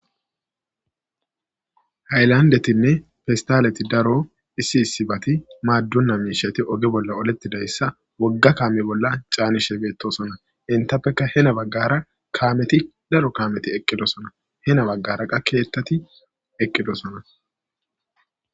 Hayllandettine pesstaleti daaro issi issibati maadona mishshati ogge bolla oolletidayssa wogga kaame bolla caanishe bettossona eenttapeka heeni baggara kaameti daaro kammeti eqqidossona heeni baggara qa kettati eqqidossona.